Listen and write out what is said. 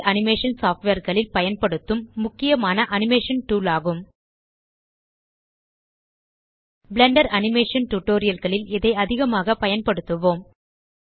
3ட் animation software களில் பயன்படுத்தும் முக்கியமான அனிமேஷன் டூல் ஆகும் பிளெண்டர் அனிமேஷன் tutorialகளில் இதை அதிகமாக பயன்படுத்துவோம்